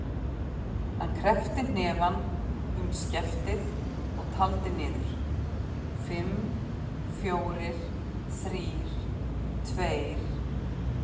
Hann kreppti hnefann um skeftið og taldi niður: fimm, fjórir, þrír, tveir.